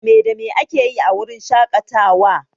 Me da me akeyi a wurin shaƙatawa?